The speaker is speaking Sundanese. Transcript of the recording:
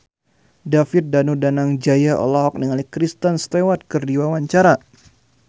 David Danu Danangjaya olohok ningali Kristen Stewart keur diwawancara